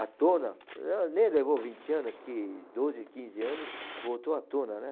à tona, eh, nem levou vinte anos, doze, quinze anos, voltou à tona, né?